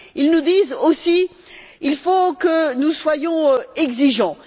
Ils nous disent aussi qu'il faut que nous soyons exigeants.